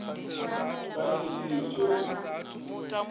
pani i si swe u